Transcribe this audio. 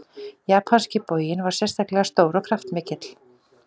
Japanski boginn var sérstaklega stór og kraftmikill.